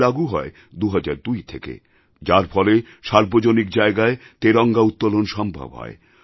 এটি লাগু হয় ২০০২ থেকে যার ফলে সার্বজনিক জায়গায় তিরঙ্গা উত্তোলন সম্ভব হয়